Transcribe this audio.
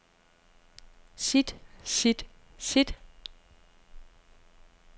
sit sit sit